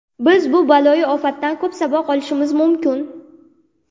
Biz bu baloyi ofatdan ko‘p saboq olishimiz mumkin.